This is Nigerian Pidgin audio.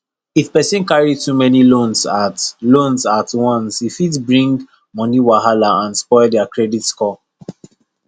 if person carry too many loans at loans at once e fit bring money wahala and spoil their credit score